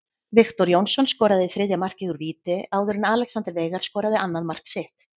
Viktor Jónsson skoraði þriðja markið úr víti áður en Alexander Veigar skoraði annað mark sitt.